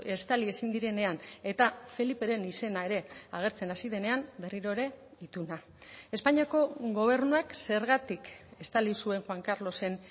estali ezin direnean eta feliperen izena ere agertzen hasi denean berriro ere ituna espainiako gobernuak zergatik estali zuen juan carlosen